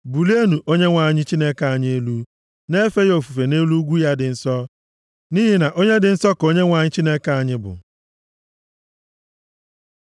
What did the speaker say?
Bulienụ Onyenwe anyị Chineke anyị elu; na-efe ya ofufe nʼelu ugwu ya dị nsọ, nʼihi na onye dị nsọ ka Onyenwe anyị Chineke anyị bụ.